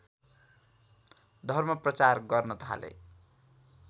धर्मप्रचार गर्न थाले